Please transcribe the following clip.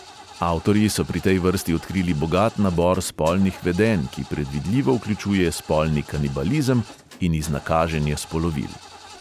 Avtorji so pri tej vrsti odkrili bogat nabor spolnih vedenj, ki predvidljivo vključuje spolni kanibalizem in iznakaženje spolovil.